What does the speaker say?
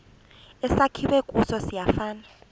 esakhiwe kuso siyafana